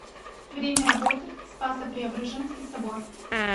время работы спасо преображенский собор